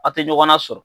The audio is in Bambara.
A tɛ ɲɔgɔn na sɔrɔ